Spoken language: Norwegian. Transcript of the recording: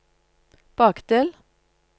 bakdel